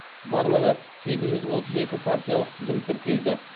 барлығы сегіз жүз отыз екі партиялық тізім тіркелді